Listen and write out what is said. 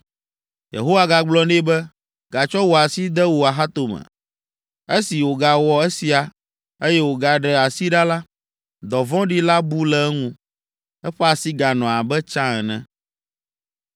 Yehowa gagblɔ nɛ be, “Gatsɔ wò asi de wò axatome.” Esi wògawɔ esia, eye wògaɖe asi ɖa la, dɔvɔ̃ɖi la bu le eŋu; eƒe asi ganɔ abe tsã ene!